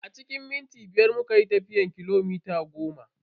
A cikin minti biyar muka yi tafiyan kilomita goma.